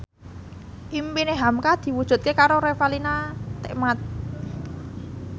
impine hamka diwujudke karo Revalina Temat